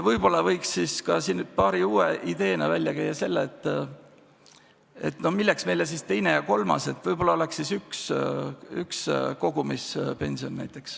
Võib-olla võiks uue ideena välja käia selle, et milleks meile teine ja kolmas sammas, võib-olla võiks olla kogumispension.